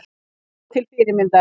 Alveg til fyrirmyndar